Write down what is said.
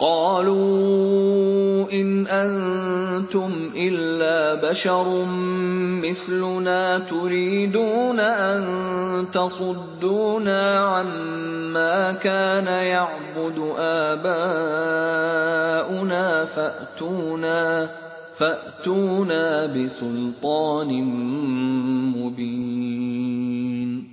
قَالُوا إِنْ أَنتُمْ إِلَّا بَشَرٌ مِّثْلُنَا تُرِيدُونَ أَن تَصُدُّونَا عَمَّا كَانَ يَعْبُدُ آبَاؤُنَا فَأْتُونَا بِسُلْطَانٍ مُّبِينٍ